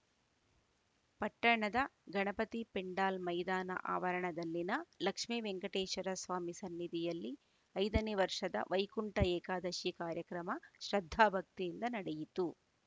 ಪಟ್ಟಣದ ಗಣಪತಿ ಪೆಂಡಾಲ್‌ ಮೈದಾನ ಆವರಣದಲ್ಲಿನ ಲಕ್ಷ್ಮೀ ವೆಂಕಟೇಶ್ವರ ಸ್ವಾಮಿ ಸನ್ನಿಧಿಯಲ್ಲಿ ಐದನೇ ವರ್ಷದ ವೈಕುಂಠ ಏಕಾದಶಿ ಕಾರ್ಯಕ್ರಮ ಶ್ರದ್ದಾಭಕ್ತಿಯಿಂದ ನಡೆಯಿತು